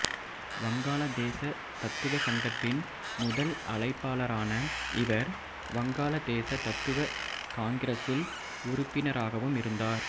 வங்காள தேச தத்துவ சங்கத்தின் முதல் அழைப்பாளரான இவர் வங்காள தேச தத்துவ காங்கிரசில் உறுப்பினராகவும் இருந்தார்